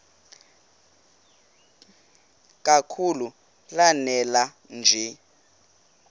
kakhulu lanela nje